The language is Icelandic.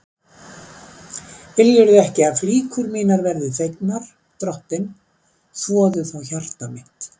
Viljirðu ekki að flíkur mínar verði þvegnar, drottinn, þvoðu þá hjarta mitt.